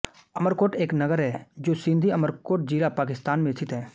अमरकोट एक नगर है जो सिंध अमरकोट ज़िला पाकिस्तान में स्थित है